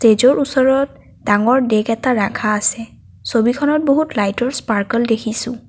ষ্টেজৰ ওচৰত ডাঙৰ ডেক এটা ৰাখা আছে ছবিখনত বহুত লাইটৰ স্পাৰ্কল দেখিছোঁ।